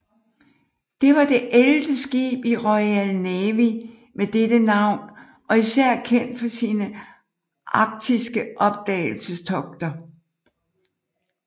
Det var det ellevte skib i Royal Navy med dette navn og især kendt for sine arktiske opdagelsestogter